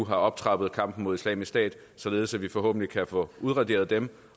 har optrappet kampen mod islamisk stat således at vi forhåbentlig kan få udraderet dem